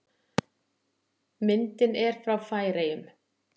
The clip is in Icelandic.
Myndin er frá Færeyjum.